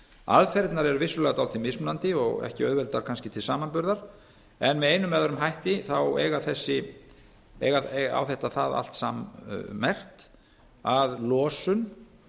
aðferðirnar eru vissulega dálítið mismunandi og ekki auðveldar kannski til samanburðar en með einum eða öðrum hætti á þetta það allt sammerkt að losun